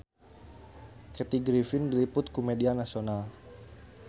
Kathy Griffin diliput ku media nasional